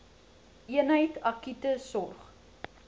eenheid akute sorg